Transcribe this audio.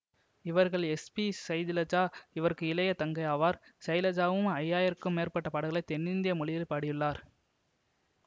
இவர்களில் S P Sailaja இவருக்கு இளைய தங்கை ஆவார் சைலஜாவும் ஐந்து ஆயிரம்க்கும் மேற்பட்ட பாடல்களை தென்னிந்திய மொழிகளில் பாடியுள்ளார்